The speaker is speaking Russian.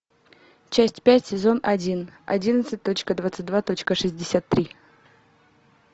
часть пять сезон один одиннадцать точка двадцать два точка шестьдесят три